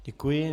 Děkuji.